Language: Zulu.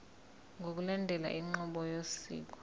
ngokulandela inqubo yosiko